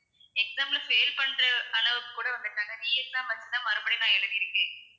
exam ல fail பண்ற அளவுக்கு கூட வந்துட்டேன் re exam வச்சு தான் மறுபடியும் நான் எழுதியிருக்கேன்.